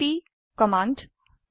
CMP command